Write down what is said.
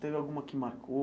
Teve alguma que marcou?